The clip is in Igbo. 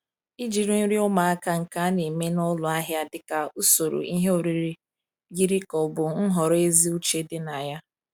Ijiri nri ụmụaka nke a na-eme n'ụlọ ahịa dị ka usoro ihe oriri yiri ka ọ bụ nhọrọ ezi uche dị na ya.